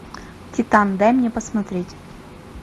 титан дай мне посмотреть